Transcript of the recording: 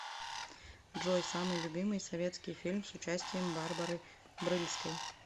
джой самый любимый советский фильм с участием барбары брыльской